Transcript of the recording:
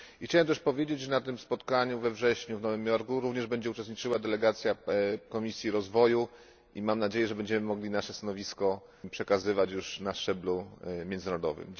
I chciałem też powiedzieć, że na tym spotkaniu we wrześniu w Nowym Jorku również będzie uczestniczyła delegacja Komisji Rozwoju i mam nadzieję, że będziemy mogli nasze stanowisko przekazywać już na szczeblu międzynarodowym.